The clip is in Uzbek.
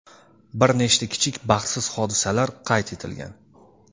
Bir nechta kichik baxtsiz hodisalar qayd etilgan.